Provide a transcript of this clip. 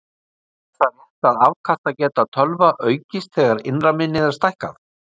Er það rétt að afkastageta tölva aukist þegar innra minni er stækkað?